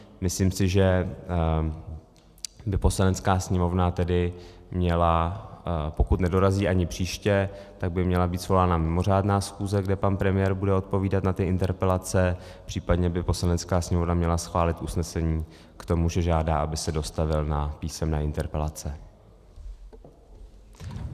Myslím si, že by Poslanecká sněmovna tedy měla, pokud nedorazí ani příště, tak by měla být svolána mimořádná schůze, kde pan premiér bude odpovídat na ty interpelace, případně by Poslanecká sněmovna měla schválit usnesení k tomu, že žádá, aby se dostavil na písemné interpelace.